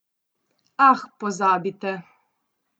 Ah, pozabite!